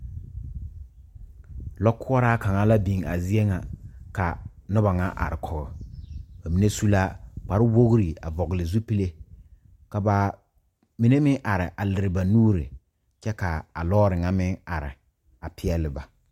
Lɔɔkoɔraa kaŋa la biŋ a zie ŋa ka noba ŋa are kɔge ba mine su la kparwogri a vɔgle zupile ka ba mine meŋ are a lere ba nuuri kyɛ ka a lɔɔre ŋa meŋ are a peɛleba.